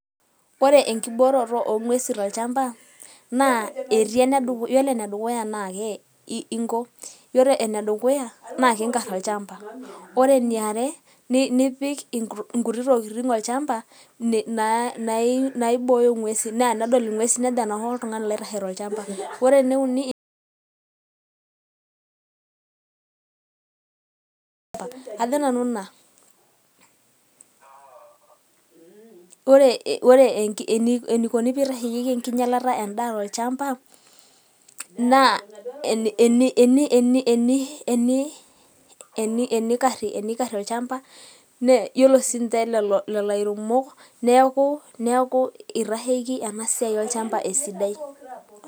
ore enkiboototo oongwesin tolchamba naa etii ene duk yiolo ene dukuya naa ke iko yiolo ene dukuya naa inkar olchamba. ore eniare nipik inkuti tokitin olchamba na na naibooyo ngwesin naa tenedol ingwesin nejo lelde oltungani aitahe tolchamba. ore ene uniajo nanu ina ore enikoni peitasheyieki enkinyialata endaa tolchamba eni eni eni enikari olchamba yiolo sinche lelo airemok neku itasheiki ena siai olchamba esidai.